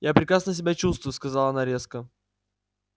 я прекрасно себя чувствую сказала она резко